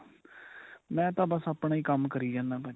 ਮੈਂ ਤਾਂ ਬੱਸ ਆਪਣਾ ਹੀ ਕੰਮ ਕਰੀ ਜਾਨਾ ਭਾਜੀ.